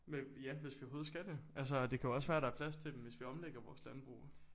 Men ja hvis vi overhovedet skal det altså det kan jo også være der er plads til dem hvis vi omlægger vores landbrug